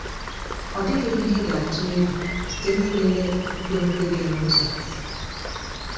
Ọ dịghị ihe ị ga-atụ egwu site n’ịlele nkwenkwe gị n’ụzọ a.